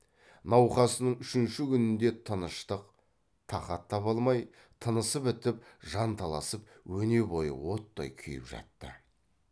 науқасының үшінші күнінде тыныштық тақат таба алмай тынысы бітіп жанталасып өне бойы оттай күйіп жатты